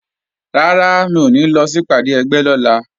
Rárá, mi ò ní lọ sí ìpàdé ẹgbẹ́ lọ́la